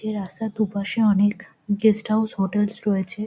এই রাস্তার দুপাশে অনেক গেস্ট হাউস হোটেলস রয়েছে।